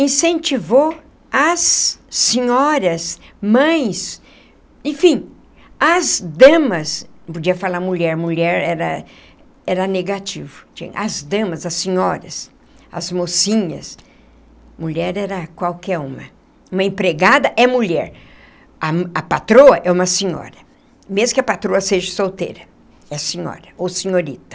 incentivou as senhoras, mães, enfim, as damas, não podia falar mulher, mulher era era negativo, as damas, as senhoras, as mocinhas, mulher era qualquer uma, uma empregada é mulher, a a patroa é uma senhora, mesmo que a patroa seja solteira, é senhora ou senhorita.